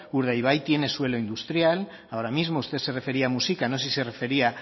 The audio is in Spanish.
urdaibai tiene suelo industrial ahora mismo usted se refería a muxika no sé si se refería